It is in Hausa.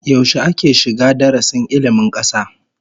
Yaushe ake shiga darasin ilmin kasa?